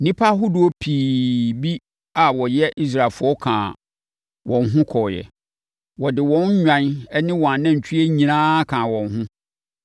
Nnipa ahodoɔ pii bi a wɔnyɛ Israelfoɔ kaa wɔn ho kɔeɛ. Wɔde wɔn nnwan ne wɔn anantwie nyinaa kaa wɔn ho.